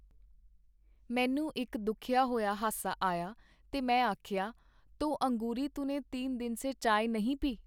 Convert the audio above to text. ਮੈਨੂੰ ਇਕ ਦੁਖਿਆ ਹੋਇਆ ਹਾਸਾ ਆਇਆ ਤੇ ਮੈਂ ਆਖਿਆ, ਤੋ ਅੰਗੂਰੀ ਤੂਨੇ ਤੀਨ ਦਿਨ ਸੇ ਚਾਏ ਨਹੀ ਪੀ ?”.